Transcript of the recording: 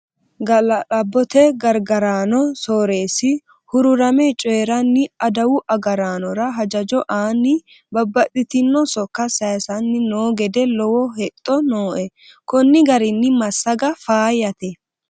Gala'labbote gargarano sooresi hururame coyiranni adawu agarraanora hajajo aani babbaxxitino sokka saysanni no gede lowo hexxo nooe koni garinni massaga faayyate.